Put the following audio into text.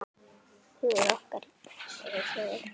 Hugur okkar er hjá ykkur.